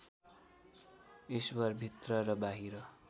ईश्वर भित्र र बाहिर